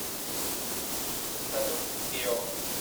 салют гео